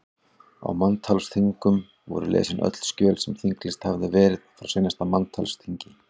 Á manntalsþingum voru lesin öll skjöl sem þinglýst hafði verið frá seinasta manntalsþingi.